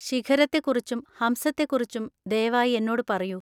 ശിഖരത്തെക്കുറിച്ചും ഹംസത്തെക്കുറിച്ചും ദയവായി എന്നോട് പറയൂ.